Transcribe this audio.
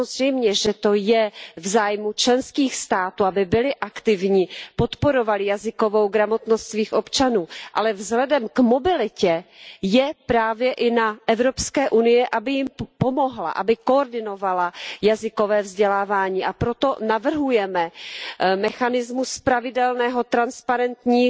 Samozřejmě, že to je v zájmu členských států, aby byly aktivní, podporovaly jazykovou gramotnost svých občanů, ale vzhledem k mobilitě je právě i na EU, aby jim pomohla, aby koordinovala jazykové vzdělávání, a proto navrhujeme mechanismus pravidelného transparentního